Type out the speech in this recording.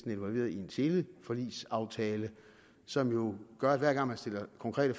involveret i en teleforligsaftale som jo gør at hver gang man stiller konkrete